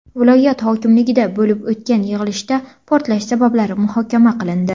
Viloyat hokimligida bo‘lib o‘tgan yig‘ilishda portlash sabablari muhokama qilindi.